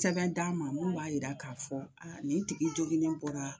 Sɛbɛn d'a ma mun b'a yira k'a fɔ nin tigi joginen bɔra